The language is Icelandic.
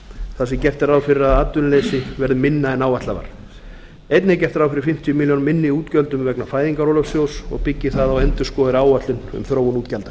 þar sem gert er ráð fyrir að atvinnuleysi verði minna en áætlað var einnig er gert ráð fyrir fimmtíu milljónir króna minni útgjöldum vegna fæðingarorlofssjóðs og byggir það á endurskoðaðri áætlun um þróun útgjalda